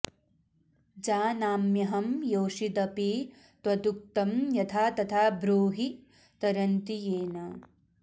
जानाम्यहं योषिदपि त्वदुक्तं यथा तथा ब्रूहि तरन्ति येन